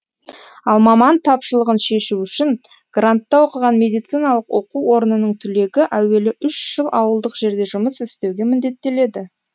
ал маман тапшылығын шешу үшін грантта оқыған медициналық оқу орнының түлегі әуелі үш жыл ауылдық жерде жұмыс істеуге міндеттеледі